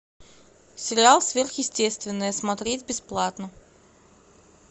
сериал сверхъестественное смотреть бесплатно